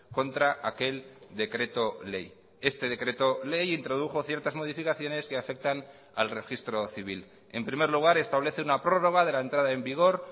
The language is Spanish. contra aquel decreto ley este decreto ley introdujo ciertas modificaciones que afectan al registro civil en primer lugar establece una prórroga de la entrada en vigor